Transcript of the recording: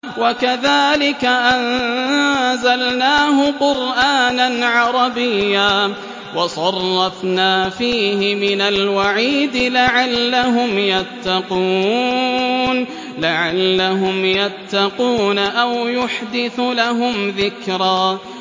وَكَذَٰلِكَ أَنزَلْنَاهُ قُرْآنًا عَرَبِيًّا وَصَرَّفْنَا فِيهِ مِنَ الْوَعِيدِ لَعَلَّهُمْ يَتَّقُونَ أَوْ يُحْدِثُ لَهُمْ ذِكْرًا